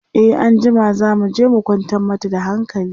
e anjima zamuje mu kwantar mata da hankali